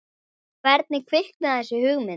Hvernig kviknaði þessi hugmynd?